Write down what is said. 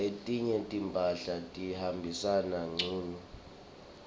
letinye timphahla tihambisana ngcunu